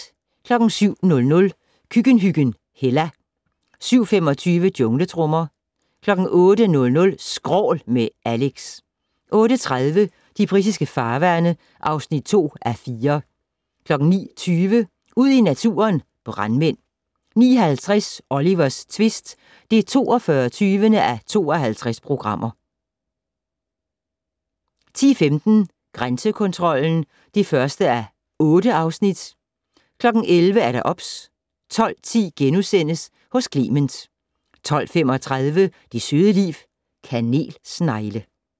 07:00: Køkkenhyggen Hella 07:25: Jungletrommer 08:00: Skrål - med Alex 08:30: De britiske farvande (2:4) 09:20: Ud i naturen: Brandmænd 09:50: Olivers tvist (42:52) 10:15: Grænsekontrollen (1:8) 11:00: OBS 12:10: Hos Clement * 12:35: Det søde liv - Kanelsnegle